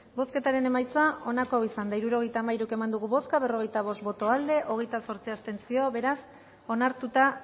bozketaren emaitza onako izan da hirurogeita hamairu eman dugu bozka berrogeita bost boto aldekoa hogeita zortzi abstentzio beraz onartuta